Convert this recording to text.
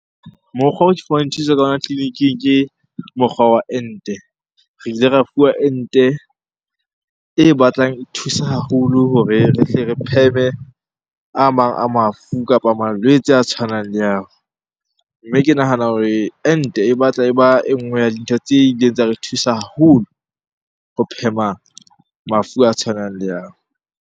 Mokgwa oo ke fumane thuso ka yona tleliniking ke mokgwa wa ente. Re ile ra fuwa ente e batlang e thusa haholo hore re tle re pheme a mang a mafu kapa malwetse a tshwanang le ao. Mme ke nahana hore ente e batla e ba e nngwe ya dintho tse ileng tsa re thusa haholo ho phema mafu a tshwanang le ao.